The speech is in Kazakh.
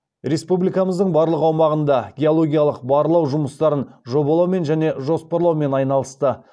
республикамыздың барлық аумағында геологиялық барлау жұмыстарын жобалаумен және жоспарлаумен айналысты